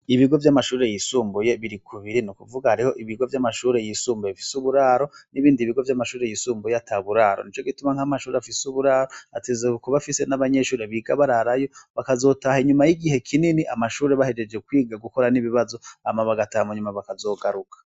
Ibigo vyamashure yisumbuye biri kubiri, nukuvuga hariho ibigo vyamashure yisumbuye bifise uburaro nibindi bigo vyamashure yisumbuye ataburaro, nicogituma amashure afise uburaro ategerezwa kuba afise n'abanyeshure biga bararayo bakazotaha inyuma y'igihe kinini amashure bahejeje kwiga gukora n'ibibazo hama bagataha munyuma bakazogaruka.